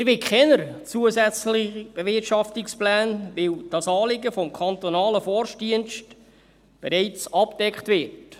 Wir wollen keine zusätzlichen Bewirtschaftungspläne, weil dieses Anliegen durch den kantonalen Forstdienst bereits abgedeckt wird.